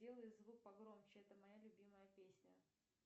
сделай звук погромче это моя любимая песня